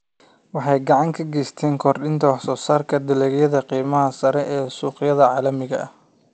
Waxay gacan ka geysataa kordhinta wax soo saarka dalagyada qiimaha sarreeya ee suuqyada caalamiga ah.